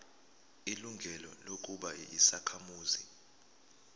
ilungelo lokuba yisakhamuzi